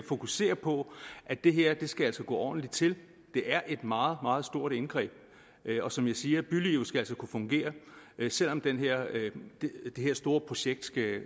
fokusere på at det her skal gå ordentligt til det er et meget meget stort indgreb og som jeg siger bylivet skal altså kunne fungere selv om det her store projekt